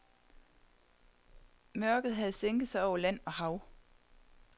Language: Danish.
Mørket havde sænket sig over land og hav.